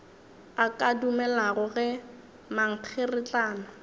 a ka dumelago ge mankgeretlana